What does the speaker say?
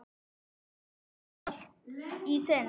Eða kannski allt í senn?